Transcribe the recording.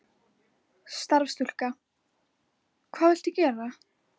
Starfsstúlka: Hvað viltu gera?